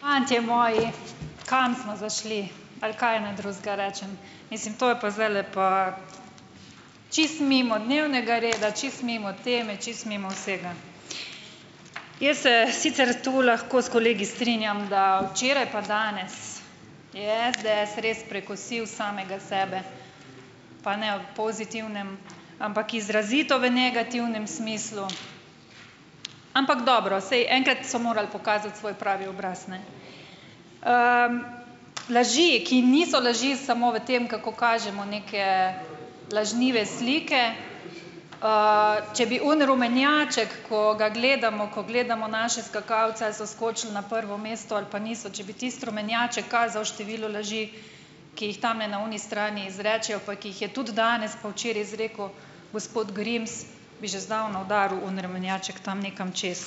Fantje moji, kam smo zašli, ali kaj naj drugega rečem. Mislim, to je pa zdajle pa čisto mimo dnevnega reda, čisto mimo teme, čisto mimo vsega. Jaz se sicer tu lahko s kolegi strinjam, da včeraj, pa danes je SDS res prekosil samega sebe, pa ne v pozitivnem, ampak izrazito v negativnem smislu. Ampak dobro, saj enkrat so morali pokazati svoj pravi obraz, ne. Laži, ki niso laži samo v tem, kako kažemo neke lažnive slike, če bi oni rumenjaček, ko ga gledamo, ko gledamo naše skakalce, a so skočili na prvo mesto ali pa niso, če bi tisti rumenjaček kazal število laži, ki jih tamle na oni strani izrečejo, pa ki jih je tudi danes pa včeraj izrekel gospod Grims, bi že zdavno udaril oni rumenjaček tam nekam čez.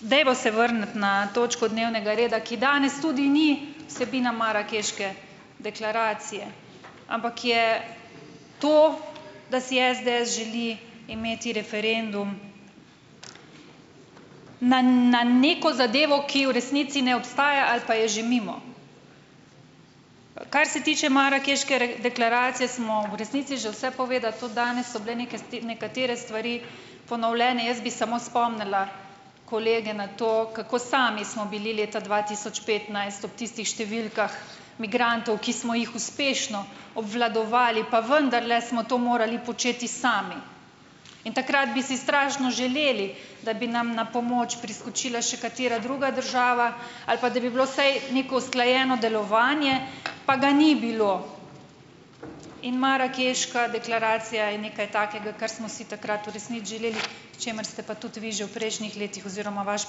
Dajmo se vrniti na točko dnevnega reda, ki danes tudi ni vsebina marakeške deklaracije, ampak je to, da si SDS želi imeti referendum na na neko zadevo, ki v resnici ne obstaja ali pa je že mimo. Kar se tiče marakeške deklaracije, smo v resnici že vse povedali. Tudi danes so bile neke nekatere stvari ponovljene. Jaz bi samo spomnila kolege na to, kako sami smo bili leta dva tisoč petnajst ob tistih številkah migrantov, ki smo jih uspešno obvladovali, pa vendarle smo to morali početi sami. In takrat bi si strašno želeli, da bi nam na pomoč priskočila še katera druga država ali pa da bi bilo vsaj neko usklajeno delovanje, pa ga ni bilo. In marakeška deklaracija je nekaj takega, kar smo si takrat v resnici želeli, k čemur ste pa tudi vi že v prejšnjih letih oziroma vaš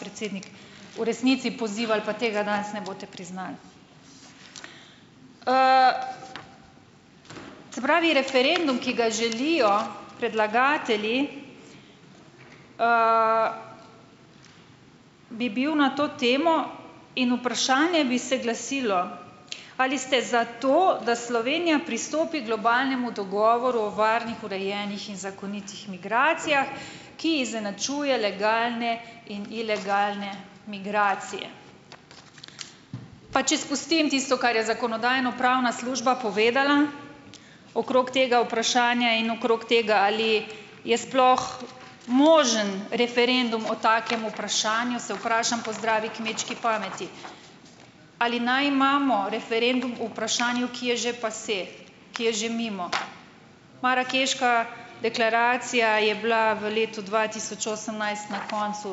predsednik v resnici pozivali, pa tega danes ne boste priznali. Se pravi referendum, ki ga želijo predlagatelji, bi bil na to temo in vprašanje bi se glasilo, ali ste za to, da Slovenija pristopi globalnemu dogovoru o varnih, urejenih in zakonitih migracijah, ki izenačuje legalne in ilegalne migracije. Pa če spustim tisto, kar je zakonodajno-pravna služba povedala okrog tega vprašanja in okrog tega, ali je sploh možen referendum o takem vprašanju, se vprašam po zdravi kmečki pameti. Ali naj imamo referendum o vprašanju, ki je že passé, ki je že mimo? Marakeška deklaracija je bila v letu dva tisoč osemnajst na koncu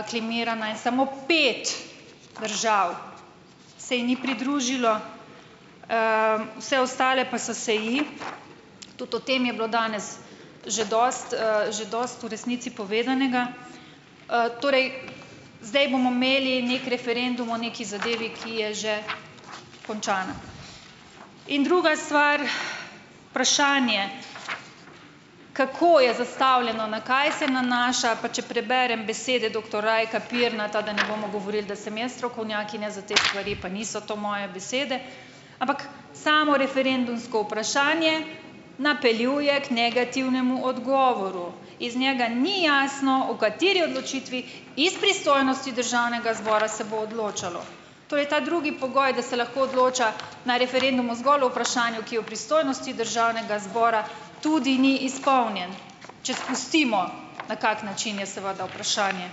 aklamirana in samo pet držav se ji ni pridružilo, vse ostale pa so se ji. Tudi o tem je bilo danes že dosti, že dosti v resnici povedanega. Torej. Zdaj bomo imeli neki referendum o neki zadevi, ki je že končana. In druga stvar, vprašanje, kako je zastavljeno, na kaj se nanaša, pa če preberem besede doktor Rajka Pirnata, da ne bomo govorili, da sem jaz strokovnjakinja za te stvari, pa niso to moje besede, ampak samo referendumsko vprašanje napeljuje k negativnemu odgovoru, iz njega ni jasno o kateri odločitvi iz pristojnosti državnega zbora se bo odločalo, to je ta drugi pogoj, da se lahko odloča na referendumu zgolj o vprašanju, ki o pristojnosti državnega zbora, tudi ni izpolnjen, če spustimo na kak način je seveda vprašanje,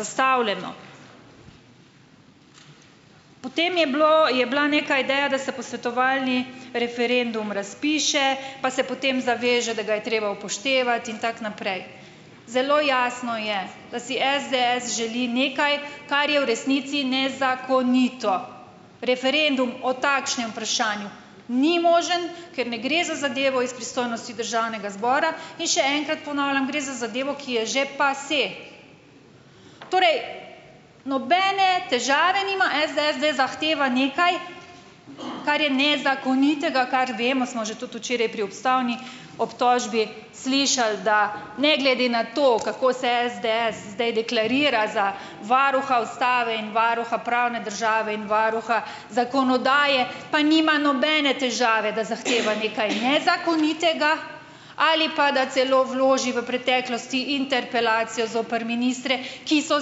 zastavljeno, potem je bilo, je bila neka ideja, da se posvetovalni referendum razpiše, pa se potem zaveže, da ga je treba upoštevati in tako naprej. Zelo jasno je, da si SDS želi nekaj, kar je v resnici nezakonito, referendum o takšnem vprašanju ni možen, ker ne gre za zadevo iz pristojnosti državnega zbora, in še enkrat ponavljam: gre za zadevo, ki je že passé, torej nobene težave nima SDS, da zahteva nekaj, kar je nezakonitega, kar vemo smo že tudi včeraj pri ustavni obtožbi slišali, da ne glede na to, kako se SDS zdaj deklarira za varuha ustave in varuha pravne države in varuha zakonodaje, pa nima nobene težave, da zahteva nekaj nezakonitega ali pa da celo vloži v preteklosti interpelacijo zoper ministre, ki so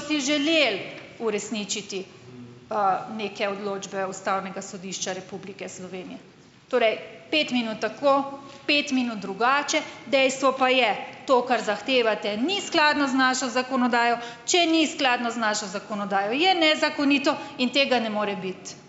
si želeli uresničiti, neke odločbe Ustavnega sodišča Republike Slovenije. Torej pet minut tako, pet minut drugače, dejstvo pa je, to, kar zahtevate, ni skladno z našo zakonodajo, če ni skladno z našo zakonodajo, je nezakonito in tega ne more biti.